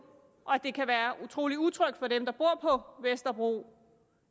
og sælger det kan være utrolig utrygt for dem der bor på vesterbro